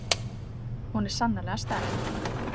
Hún er sannarlega sterk.